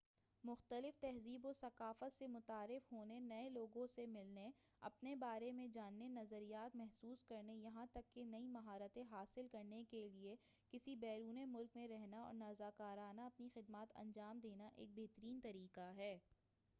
مختلف تہذیب و ثقافت سے متعارف ہونے نئے لوگوں سے ملنے اپنے بارے میں جاننے نظریات محسوس کرنے یہاں تک کہ نئی مہارتیں حاصل کرنے کیلئے کسی بیرون ملک میں رہنا اور رضاکارانہ اپنی خدمات انجام دینا ایک بہترین طریقہ ہے